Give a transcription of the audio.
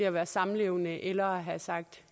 at være samlevende eller have sagt